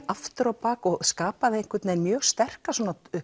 aftur á bak og skapaði einhvern veginn mjög sterka